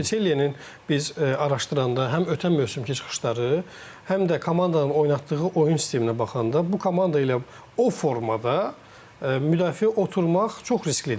Çünki Çellinin biz araşdıranda həm ötən mövsümkü çıxışları, həm də komandanın oynatdığı oyun sisteminə baxanda bu komanda ilə o formada müdafiə oturmaq çox risklidir.